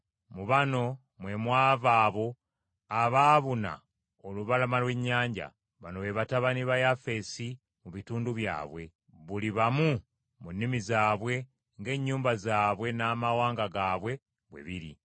(Mu bano mwe mwava abo abaabuna olubalama lw’ennyanja. Bano be batabani ba Yafeesi mu bitundu byabwe, buli bamu mu nnimi zaabwe ng’ennyumba zaabwe n’amawanga gaabwe bwe biri.)